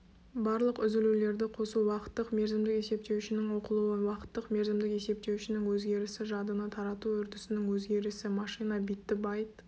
барлық үзілулерді қосу уақыттық-мерзімдік есептеуішінің оқылуы уақыттық-мерзімдік есептеуішінің өзгерісі жадыны тарату үрдісінің өзгерісі машина битті байт